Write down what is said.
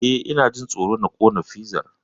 Eh, Ina jin tsoro na kona fizar.